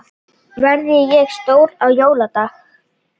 Verð ég stjóri á jóladag?